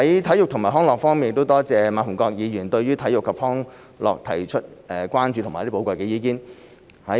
體育及康樂我多謝馬逢國議員對體育及康樂提出的關注和寶貴意見。